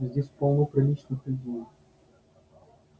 здесь полно приличных людей